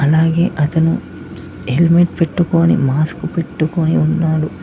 అలాగే అతను హెల్మెట్ పెట్టుకోని మాస్క్ పెట్టుకొని ఉన్నాడు.